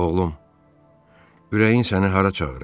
Oğlum, ürəyin səni hara çağırır?